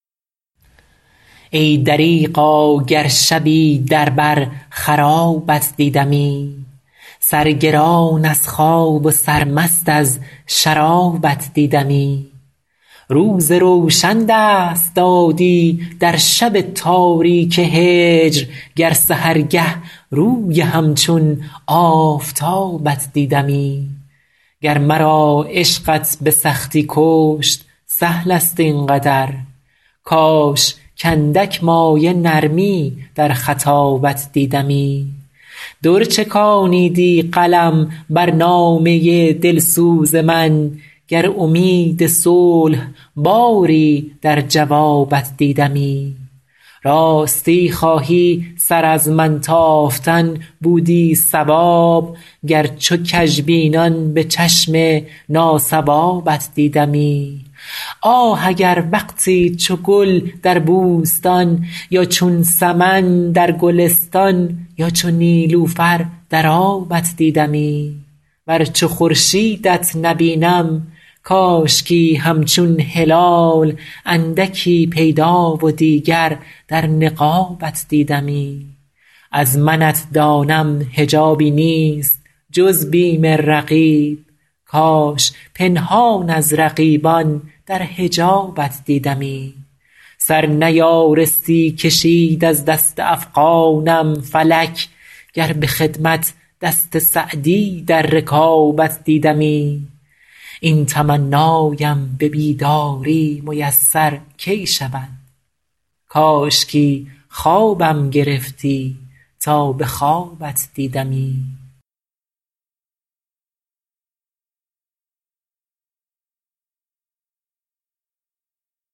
ای دریغا گر شبی در بر خرابت دیدمی سرگران از خواب و سرمست از شرابت دیدمی روز روشن دست دادی در شب تاریک هجر گر سحرگه روی همچون آفتابت دیدمی گر مرا عشقت به سختی کشت سهل است این قدر کاش کاندک مایه نرمی در خطابت دیدمی در چکانیدی قلم بر نامه دلسوز من گر امید صلح باری در جوابت دیدمی راستی خواهی سر از من تافتن بودی صواب گر چو کژبینان به چشم ناصوابت دیدمی آه اگر وقتی چو گل در بوستان یا چون سمن در گلستان یا چو نیلوفر در آبت دیدمی ور چو خورشیدت نبینم کاشکی همچون هلال اندکی پیدا و دیگر در نقابت دیدمی از منت دانم حجابی نیست جز بیم رقیب کاش پنهان از رقیبان در حجابت دیدمی سر نیارستی کشید از دست افغانم فلک گر به خدمت دست سعدی در رکابت دیدمی این تمنایم به بیداری میسر کی شود کاشکی خوابم گرفتی تا به خوابت دیدمی